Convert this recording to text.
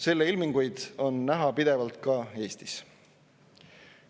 Selle ilminguid on näha pidevalt ka Eestis.